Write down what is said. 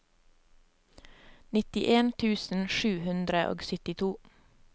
nittien tusen sju hundre og syttito